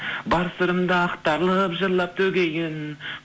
бар сырымды ақтарылып жырлап төгейін